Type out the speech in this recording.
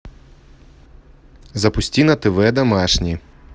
запусти на тв домашний